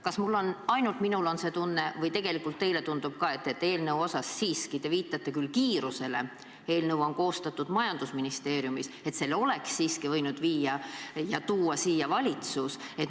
Kas ainult minul on see tunne või tundub tegelikult ka teile, et selle eelnõu – te viitate küll kiirusele, eelnõu on koostatud majandusministeeriumis – oleks siiski võinud tuua siia valitsus?